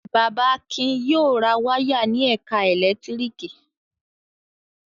Bàbá Akin yóò ra wáyà ní ẹ̀ka ẹ̀lẹ́tíríkì.